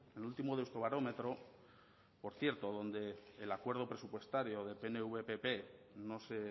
el último deusto barómetro por cierto donde el acuerdo presupuestario de pnv pp no se